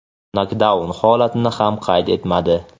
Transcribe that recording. nokdaun holatini ham qayd etmadi.